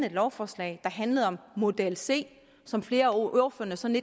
et lovforslag der handlede om model c som flere af ordførerne sådan